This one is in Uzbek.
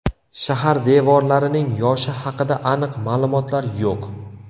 Shahar devorlarining yoshi haqida aniq ma’lumotlar yo‘q.